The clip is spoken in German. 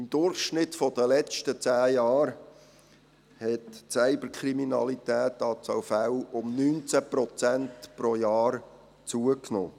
Im Durchschnitt hat die Anzahl Fälle von Cyberkriminalität in den letzten zehn Jahren um 19 Prozent pro Jahr zugenommen.